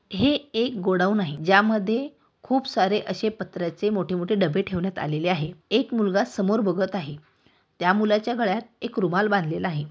हे एक गोडोउन आहे ज्यामध्ये खूप सारे अशे पत्राचे मोठे मोठे डब्बे ठेवण्यात आलेले आहेएक मुलगा समोर बघत आहे त्या मुलाचा गळ्यात एक रुमाल बांधलेला आहे.